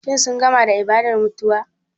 Shin sun gama da ibadar mutuwa?